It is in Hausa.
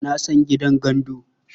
Na san gidan gandu.